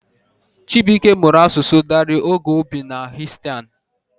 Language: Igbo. Chibuike mụrụ asụsụ Dari oge o bi n'Afghanistan.